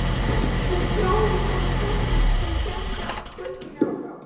Hún þáði það með þökkum og þau héldu göngunni áfram.